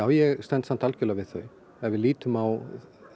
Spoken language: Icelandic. ég stend samt algjörlega við þau ef við lítum á